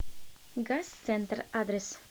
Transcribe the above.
газ центр адрес